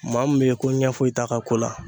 Maa min bɛ ye ko ɲɛ foyi t'a ka ko la.